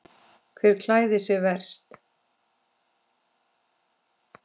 Hver klæðir sig verst?